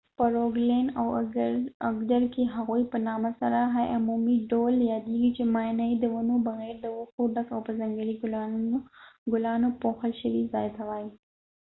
په روګلیند او اګدر کې هغوی په عمومي ډول د hei په نامه سره یادیږي چې معنې یې د ونو بغیر د وښو ډک او په ځنګلي ګلانو پوښل شوي ځای ته وایي